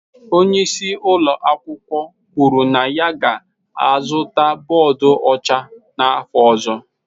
Onye isi ụlọ akwụkwọ kwuru na ya ga-azụta bọọdụ ọcha n'afọ ọzọ.